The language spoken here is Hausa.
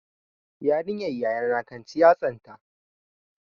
Yarinyar yayana kan ci yatsanta.